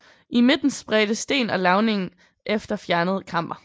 I midten spredte sten og lavning efter fjernet kammer